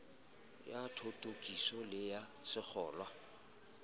ya thothokiso le ya sengolwa